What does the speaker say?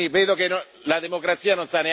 Si sieda e rispetti